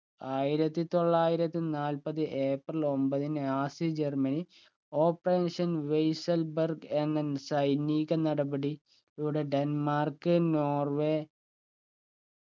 ആയിരത്തി തൊള്ളായിരത്തി നാൽപ്പത് ഏപ്രിൽ ഒമ്പത് നാസി ജർമ്മനി operation വെയ്‌സൽ ബർഗ് എന്ന സൈനിക നടപടി ലൂടെ ഡെൻമാർക്ക്‌ നോർവേ